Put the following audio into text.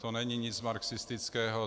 To není nic marxistického.